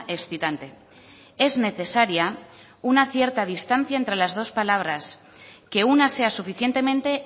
excitante es necesaria una cierta distancia entre las dos palabras que una sea suficientemente